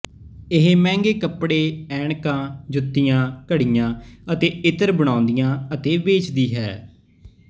ਇਹ ਮਹਿੰਗੇ ਕਪੜੇ ਐਨਕਾਂ ਜੁੱਤੀਆਂ ਘੜੀਆਂ ਅਤੇ ਇਤਰ ਬਣਾਉਂਦੀ ਅਤੇ ਵੇਚਦੀ ਹੈ